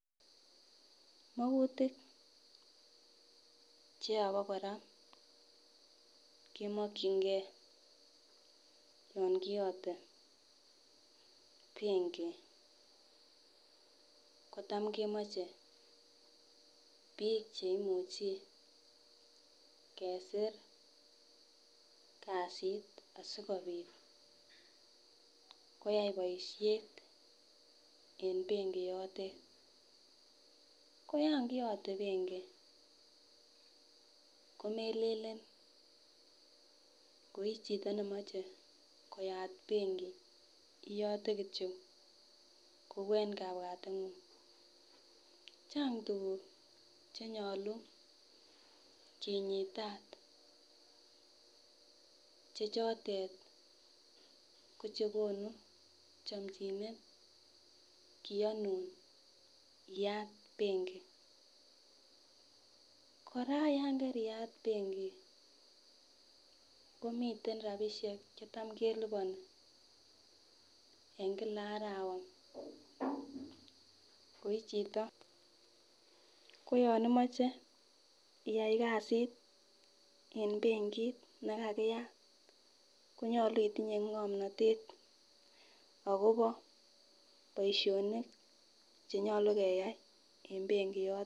Makutik che yo pon kora kimakchinkei yan kiyatei penki kocham kemeche pik che imuchi kesir kasit asikopit koyai boishet en penki yoten. Ko yankiyatei penki komelen ile ko ii chito nemache koyat penki iyate kityo kouu eng kapwateng'ung'. Chang' tukuk che nyaluu kinyitaat che choten ko chee konun chamchineet kiyanun iyat penki. Kora ya kariat penki komiten rapishek che cham kelipani eng kila arawa ko ii chito. Ko yan imeche iyai kasit eng penkit nekariat konyolu itinye ngomnatet akopa poishonik che nyolu keyai en penki yotok.